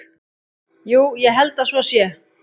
Jú, ég held að svo sé.